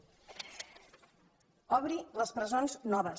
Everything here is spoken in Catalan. obri les presons noves